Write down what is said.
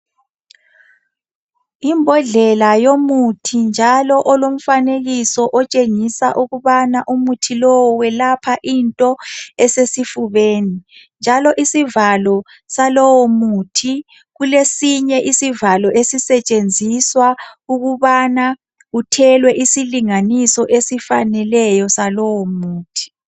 Imbodlela yomuthi njalo olomfanekiso otshengisa ukubana umuthi lowo welapha into esesifubeni. Njalo isivalo salowo muthi kulesinye isivalo esisetshenziswa ukubana kuthelwe isilinganiso esifaneleyo salowo muthi.